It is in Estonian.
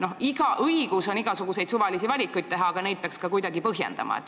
No õigus on igasuguseid suvalisi valikuid teha, aga neid peaks kuidagi põhjendama.